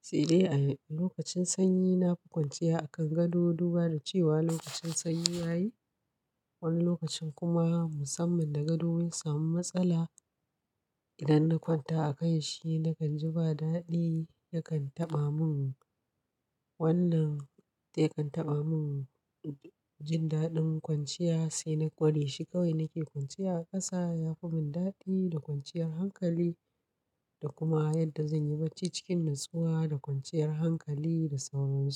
sai dai a lokacin sanyi na fi kwanciya a kan gado, duba da cewa lokacin sanyi yayi. Wani lokacin kuma musamman da gado wani samun matsala, idan na kwanta a kan shi na kan ji ba daɗi. Yakan taɓa mun wannan, dai kan taɓa mun jin daɗin kwanciya, sai na gwade shi kawai. Na ke kwanciya a ƙasa ya fi mun daɗi da kwanciyar hankali da kuma yadda zan yi barci cikin nutsuwa da kwanciyar hankali da sauransu.